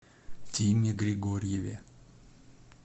тиме григорьеве